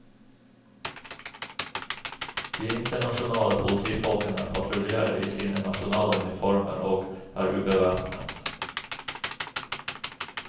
De internasjonale politifolkene patruljerer i sine nasjonale uniformer og er ubevæpnet.